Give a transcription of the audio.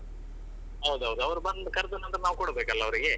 ಹೌದು ಹೌದು ಅವರು ಬಂದು ಕರ್ದು ನಾವು ಕೊಡಬೇಕಲ್ಲ ಅವರಿಗೆ.